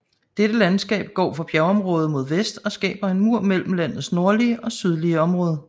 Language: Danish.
Dette landskab går fra bjergområdet mod vest og skaber en mur mellem landets nordlige og sydlige område